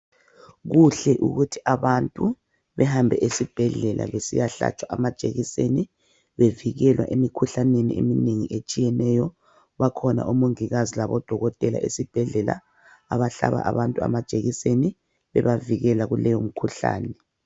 Kuhle ukuthi abantu behambe esibhedlela besiyahlatshwa amajekiseni bevikelwa emikhuhlaneni eminengi etshiyeneyo bakhona omongikazi labodokotela esibhedlela abahlaba abantu amajekiseni bebavikela kuleyo mkhuhlani.